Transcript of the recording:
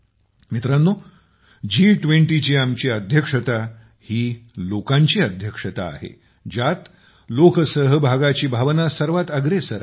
मित्रांनो G20ची आपली अध्यक्षता ही लोकांची अध्यक्षता आहे ज्यात लोकसहभागाची भावना सर्वात अग्रेसर आहे